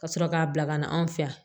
Ka sɔrɔ k'a bila ka na anw fɛ yan